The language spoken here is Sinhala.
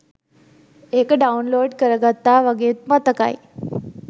ඒක ඩවුන්ලෝඩ් කරගත්තා වගෙත් මතකයි